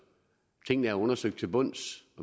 tingene er undersøgt til bunds